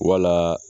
Wala